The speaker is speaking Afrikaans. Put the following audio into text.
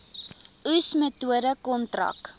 oes metode kontrak